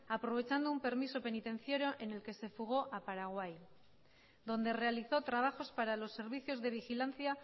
aprovechando un permiso penitenciario en el que se fugó a paraguay donde realizó trabajos para los servicios de vigilancia